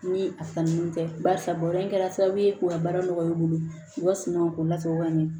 Ni a sanni tɛ barisa ba in kɛra sababu ye k'u ka baara nɔgɔya i bolo u ka sunɔgɔ k'o lasago ka ɲɛ